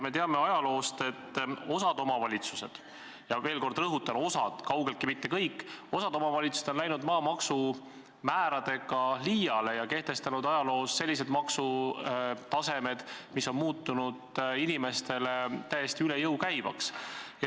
Me teame ajaloost, et osa omavalitsusi – veel kord rõhutan: osa, kaugeltki mitte kõik – on läinud maamaksumääradega liiale ja kehtestanud sellised maksutasemed, mis on muutunud inimestele täiesti üle jõu käivaks.